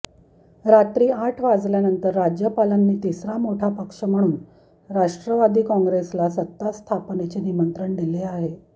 रात्री आठ वाजल्यानंतर राज्यपालांनी तिसरा मोठा पक्ष म्हणून राष्ट्रवादी काँग्रेसला सत्तास्थापनेचे निमंत्रण दिले आहे